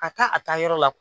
ka taa a taa yɔrɔ la